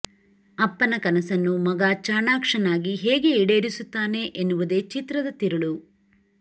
ಅಪ್ಪನ ಕನಸನ್ನು ಮಗ ಚಾಣಾಕ್ಷನಾಗಿ ಹೇಗೆ ಈಡೇರಿಸುತ್ತಾನೆ ಎನ್ನುವುದೇ ಚಿತ್ರದ ತಿರುಳು